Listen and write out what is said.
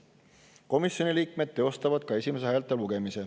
Komisjoni liikmed teostavad ka esimese häälte lugemise.